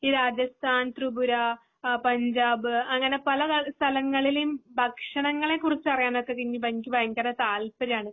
ഈ രാജസ്ഥാൻ ത്രിപുര ഏഹ് പഞ്ചാബ് പല ത സ്ഥലങ്ങളിലും ഭക്ഷണങ്ങളെ കുറിച്ചറിയാനൊക്കെ എനിക്ക് എനിക്ക് ഭയങ്കര താൽപര്യമാണ്